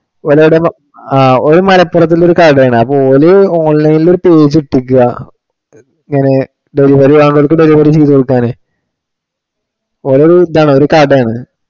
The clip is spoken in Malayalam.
ഓന് അവിടെ ഓന് മലപ്പുറത്തുള്ള ഒരു കടയാണ്. അപ്പം ഓന് online ഇൽ ഒരു page ഇട്ടിരിക്ക്യാ. ഇങ്ങനെ delivery ആവണത് delivery ചെയ്തു കൊടുക്കാൻ. ഒരു ഇതാണ് ഒരു കടയാണ്